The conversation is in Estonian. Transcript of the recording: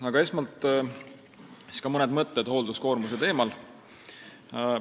Aga esmalt mõned mõtted hoolduskoormuse teemal.